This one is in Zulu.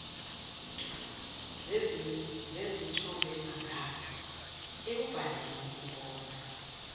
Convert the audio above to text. zezithombemagama ekubhaleni inkondlo